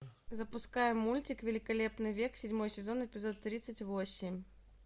запускай мультик великолепный век седьмой сезон эпизод тридцать восемь